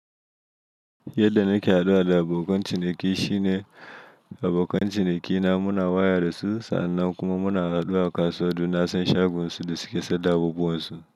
Yadda nake haduwa da abokan ciniki shine abokan cinikina muna waya da su sa'an nan kuma muna haduwa kasuwa don na san shagun su da suƙe sanda abubuwan su.